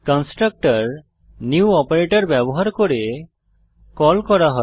constructor new operator ব্যবহার করে call করা হয়